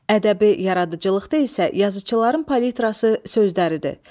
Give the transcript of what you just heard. Ədəbi yaradıcılıqda isə yazıçıların palitrası sözləridir.